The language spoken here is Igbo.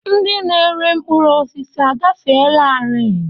Ndị na-ere mkpụrụ osisi agafeelarị?